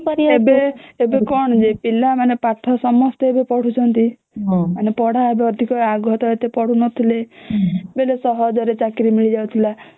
ଏବେ କଣ ଯେ ପିଲା ମାନେ ପାଠ ଏବେ ସମସ୍ତେ ପଢୁଛନ୍ତି ମାନେ ପଢା ଏବେ ଅଧିକ ଆଗ ତ ଏତେ ପଢୁ ନଥିଲେ ବୋଇଲେ ସହଜ ରେ ଚାକିରୀ ମିଳି ଯାଉଥିଲା